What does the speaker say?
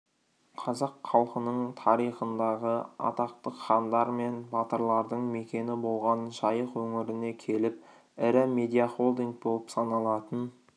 қазақ халқының тарихындағы атақты хандар мен батырлардың мекені болған жайық өңіріне келіп ірі медиахолдинг болып саналатын